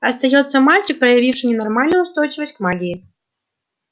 остаётся мальчик проявивший ненормальную устойчивость к магии